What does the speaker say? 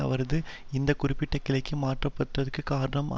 அவர் இந்த குறிப்பிட்ட கிளைக்கு மாற்ற பட்டதற்கு காரணம்